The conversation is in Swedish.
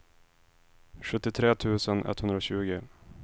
sjuttiotre tusen etthundratjugo